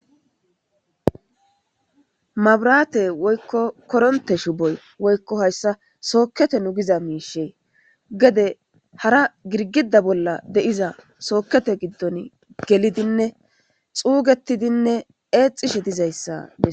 mabraate woykko koronte shuboy woykko hayssa sookkete nugiza miishe gede hara girgida bolla de7iza sookete giddon gelidinne xuugetidinne eexishe dizayssae